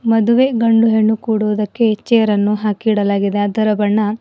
ಮದುವೆ ಗಂಡು ಹೆಣ್ಣು ಕೂಡುದಕ್ಕೆ ಈ ಚೇರ್ ಅನ್ನು ಹಾಕಿ ಇಡಲಾಗಿದೆ ಅದರ ಬಣ್ಣ.